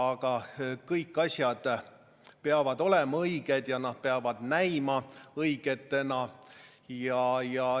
Aga kõik asjad peavad olema õiged ja nad peavad ka näima õigetena.